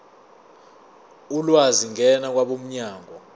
ulwazi ngena kwabomnyango